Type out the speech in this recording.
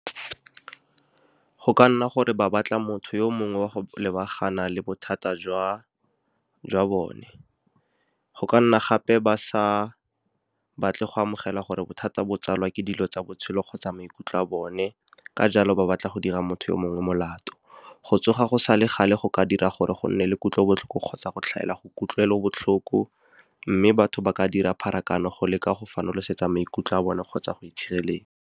Go ka nna gore ba batla motho yo mongwe wa go lebagana le bothata jwa bone, go ka nna gape ba sa batle go amogela gore bothata bo tsalwa ke dilo tsa botshelo kgotsa maikutlo a bone. Ka jalo, ba batla go dira motho yo mongwe molato. Go tsoga go sa le gale go ka dira gore go nne le kutlobotlhoko kgotsa go tlhaela go kutlwelobotlhoko, mme batho ba ka dira pharakano go leka go fanolosetsa maikutlo a bone kgotsa go itshireletsa.